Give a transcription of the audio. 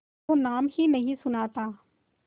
तो नाम ही नहीं सुना था